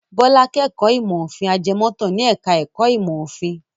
Bọ́lá kẹ́kọ̀ọ́ ìmọ̀-òfin ajẹmọ́tàn ní ẹ̀ka-ẹ̀kọ́ ìmọ̀-òfin.